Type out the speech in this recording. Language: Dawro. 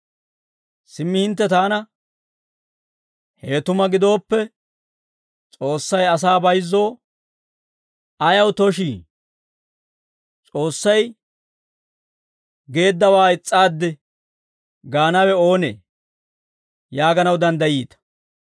Simmi hintte taana, «Hewe tuma gidooppe, S'oossay asaa bayizzoo ayaw tooshii? S'oossay geeddawaa is's'aaddi gaanawe oonee?» yaaganaw danddayiita.